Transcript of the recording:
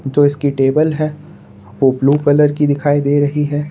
तो इसकी टेबल है वो ब्लू कलर की दिखाई दे रही है।